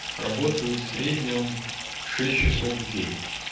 работают в среднем шесть часов в день